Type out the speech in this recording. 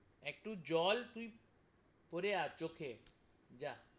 একটু জল তুই পরে আয় চোখে জা,